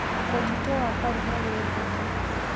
Mũtitũ wa Karura wĩ ngumo.